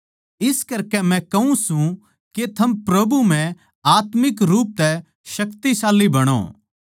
इस करकै मै कहूँ सूं के थम प्रभु म्ह आत्मिक रूप तै शक्तिशाली बणो